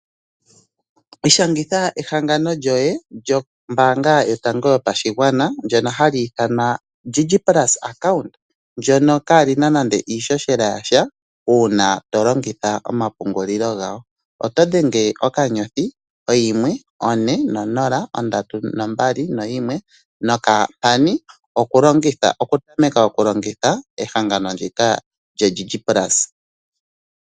Ishangitha ehangano lyoye lyono lyombaanga yotango yopashigwana lyono hali ithanwa DigiPlus Account lyono lyaana nande iishoshela yasha uuna tolongitha omapungulilo gawo. Oto dhenge *140* 321# okutameka okulongitha ehangano ndika lyo DigiPlus.